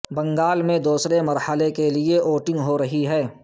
بنگال میں دوسرے مرحلے کے لیئے ووٹنگ ہو رہی ہے